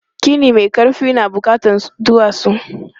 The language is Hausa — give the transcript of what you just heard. Gini mai ƙarfi na buƙatan duwatsu.